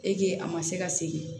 a ma se ka segin